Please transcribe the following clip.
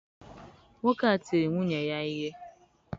Nwoke a tiri nwunye ya ihe.